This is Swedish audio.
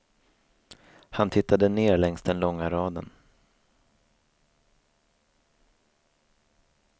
Han tittade ner längs den långa raden.